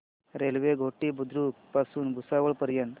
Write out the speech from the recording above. railway Ghoti Budruk पासून भुसावळ पर्यंत